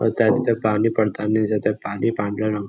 होताय तिथ पाणी पडतांनी दिसत आहे पाणी पांढऱ्या रंग--